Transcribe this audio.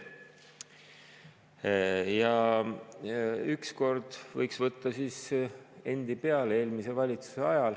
Ükskord võiks võtta selle enda peale.